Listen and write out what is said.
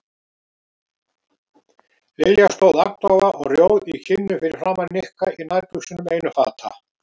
Lilja stóð agndofa og rjóð í kinnum fyrir framan Nikka í nærbuxunum einum fata.